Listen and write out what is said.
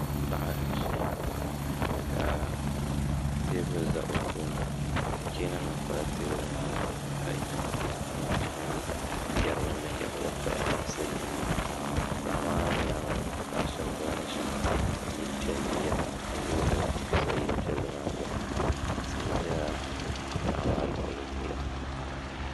Paɣa n-ʒiya ka teebuli za o tooni cheeninima pala teebuli maa zuɣu ka nintuhi mini yari ni binyɛra bansi paɣa maabnyaaŋa paɣ' shɛba ɡba ʒimi yil' piɛlli yirimi na ka loori za yil' piɛlli maa tooni tihi beni